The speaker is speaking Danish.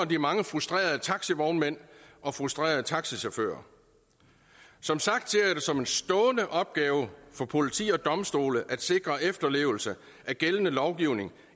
de mange frustrerede taxivognmænd og frustrerede taxichauffører som sagt ser jeg det som en stående opgave for politi og domstole at sikre efterlevelse af gældende lovgivning